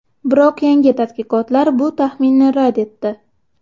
Biroq yangi tadqiqotlar bu taxminni rad etdi.